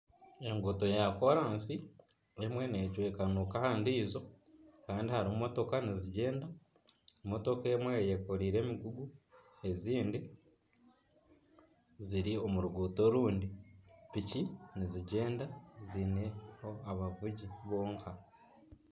Enguuto ya koransi emwe necwekanuka aha ndiijo kandi hariho emotooka nizigyenda, motooka emwe eyekoreire emigugu ezindi ziri omu ruguuto orundi piki nizigyenda ziine abavugi bonka.